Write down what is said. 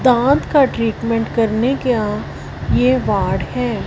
दाँत का ट्रीटमेंट करने ये वार्ड हैं।